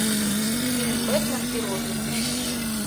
фильм бэтмен и робин найти